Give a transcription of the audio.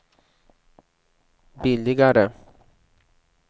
billigare